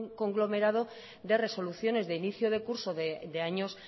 conglomerado de resoluciones de inicio de curso de años